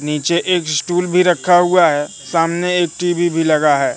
नीचे एक स्टूल भी रखा हुआ है सामने टी_वी भी लगा है।